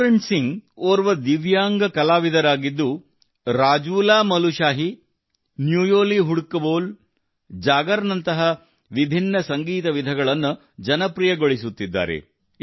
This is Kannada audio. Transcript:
ಪೂರಣ್ ಸಿಂಗ್ ಓರ್ವ ದಿವ್ಯಾಂಗ ಕಲಾವಿದರಾಗಿದ್ದು ರಾಜೂಲಾಮಲುಶಾಹೀ ನ್ಯೂಯೋಲಿ ಹುಡಕ ಬೋಲ್ ಜಾಗರ್ ನಂತಹ ವಿಭಿನ್ನ ಸಂಗೀತ ವಿಧಗಳನ್ನು ಜನಪ್ರಿಯಗೊಳಿಸುತ್ತಿದ್ದಾರೆ